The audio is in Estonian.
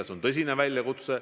See on tõsine väljakutse.